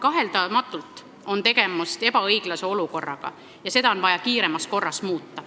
Kaheldamatult on tegemist ebaõiglase olukorraga ja seda on vaja kiiremas korras muuta.